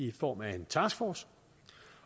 i form af en taskforce